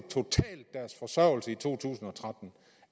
deres forsørgelse i 2013